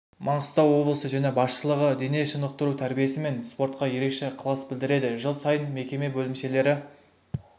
маңғыстау облысы және басшылығы дене шынықтыру тәрбиесі мен спортқа ерекше ықылас білдіреді жыл сайын мекеме бөлімшелері